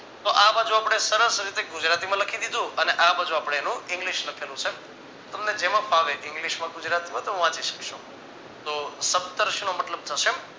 તો આ બાજુ આપણે સરસ રીતે ગુજરાતીમાં લખી દીધું અને આ બાજુ આપણે એનું english લખેલું છે તમને જેમાં ફાવે english માં ગુજરાતીમાં બધામાં વાંચી શકશો તો સટર્સનો મતલબ થશે